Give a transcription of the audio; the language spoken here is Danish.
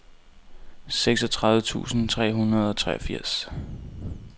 seksogtredive tusind tre hundrede og treogfirs